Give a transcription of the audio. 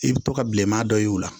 I bi to ka bilenman dɔ ye o la